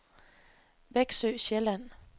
Veksø Sjælland